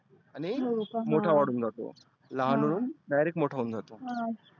आणि मोठा वाढुन जातो. लहान हुन direct मोठा होऊन जातो. हा